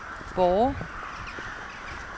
Borre